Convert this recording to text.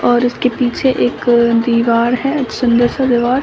और उसके पीछे एक दीवार है सुंदर सा दीवार।